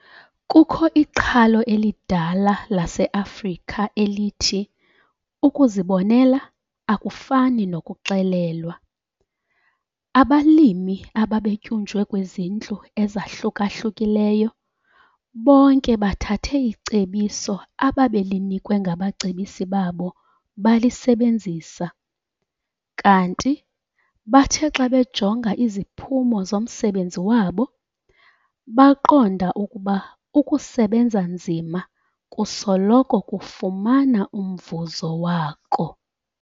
Kukho iqhalo elidala laseAfrika elithi ukuzibonela akufani nokuxelelwa. Abalimi abebetyunjwe kwizindlu ezahluka-hlukileyo bonke bathathe icebiso ababelinikwe ngabacebisi babo balisebenzisa, kanti bathe xa bejonga iziphumo zomsebenzi wabo, baqonda ukuba ukusebenza nzima kusoloko kufumana umvuzo wako.